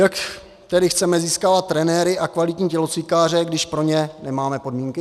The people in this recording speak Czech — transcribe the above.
Jak tedy chceme získávat trenéry a kvalitní tělocvikáře, když pro ně nemáme podmínky?